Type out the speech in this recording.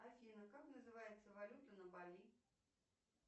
афина как называется валюта на бали